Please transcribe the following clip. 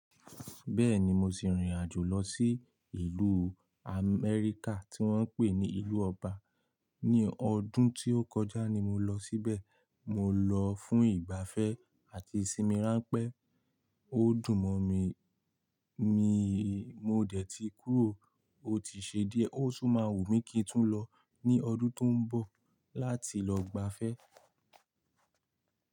Bẹ́ẹ̀ni mo ti rìnrìn àjò lọ sí ìlú Amẹ́ríkà tí wọ́n ń pè ní ìlú Ọba. Ní ọdún tí ó kọjá ni mo lọ síbẹ̀. Mo lọ fún ìgbafẹ́ àti ìsinmi ránpẹ́. Ó dùn mọ̀ mí, miì mo dẹ̀ ti kúrò ó ti ṣe díẹ̀. Ó tun máa wù mí kí n tún lọ ní ọdún tó ń bọ̀ láti lọ gbafẹ́.